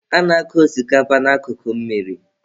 A na-akụ osikapa na akụkụ mmiri.